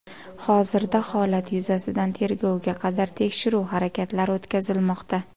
Hozirda holat yuzasidan tergovga qadar tekshiruv harakatlari o‘tkazilmoqda.